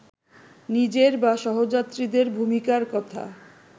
নিজের বা সহযাত্রীদের ভূমিকার কথা